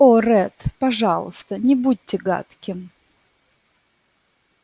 о ретт пожалуйста не будьте гадким